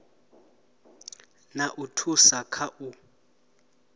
na u thusa kha u